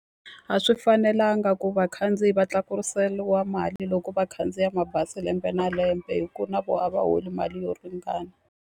A swi fanelanga ku vakhandziyi va tlakuseriwa mali loko vakhandziya mabazi lembe na lembe, hikuna na vona a va holi mali yo ringana.